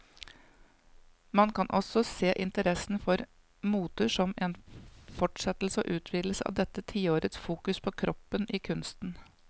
Man kan også se interessen for moter som en fortsettelse og utvidelse av dette tiårets fokus på kroppen i kunsten.